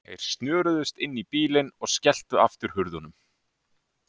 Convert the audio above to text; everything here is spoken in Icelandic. Þeir snöruðust inn í bílinn og skelltu aftur hurðunum.